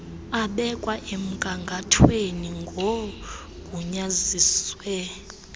abekwa emgangathweni ngoogunyaziwe